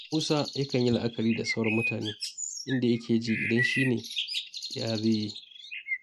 Musa yakan yi la'akari da sauran mutane, inda yake ji idan shi ne yaya zai yi?